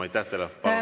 Aitäh teile!